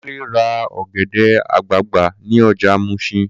Kunle ra ọ̀gẹ̀dẹ̀ àgbagbà ní ọjà Muṣin